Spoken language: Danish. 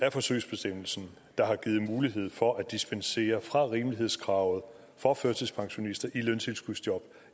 af forsøgsbestemmelsen der har givet mulighed for at dispensere fra rimelighedskravet for førtidspensionister i løntilskudsjob